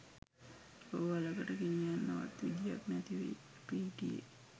රෝහලකට ගෙනියන්නවත් විදියක් නැතිවයි අපි හිටියේ.